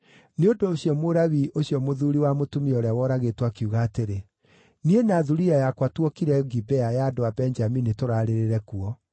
Nĩ ũndũ ũcio Mũlawii ũcio mũthuuri wa mũtumia ũrĩa woragĩtwo akiuga atĩrĩ, “Niĩ na thuriya yakwa tuokire Gibea ya andũ a Benjamini tũraarĩrĩre kuo.